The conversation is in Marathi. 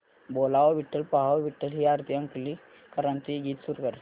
बोलावा विठ्ठल पहावा विठ्ठल हे आरती अंकलीकरांचे गीत सुरू कर